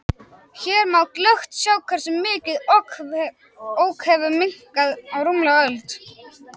Hér má glöggt sjá hversu mikið Ok hefur minnkað á rúmlega öld.